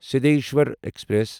Siddheshwar express